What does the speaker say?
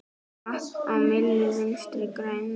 Vatn á myllu Vinstri grænna?